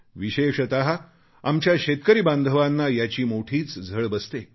विशेषत आमच्या शेतकरी बांधवांना याची मोठीच झळ बसते